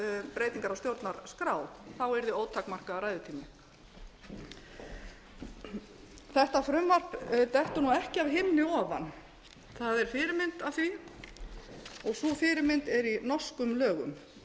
um breytingar á stjórnarskrá þá yrði ótakmarkaður ræðutími þetta frumvarp dettur nú ekki af himni ofan það er fyrirmynd að því og sú fyrirmynd er í norskum lögum